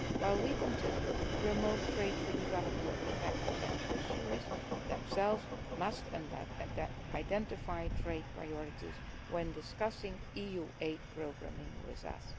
While we continue to promote trade for development, prospective beneficiaries themselves must identify trade priorities when discussing EU aid programming with